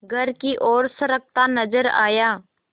घर की ओर सरकता नजर आया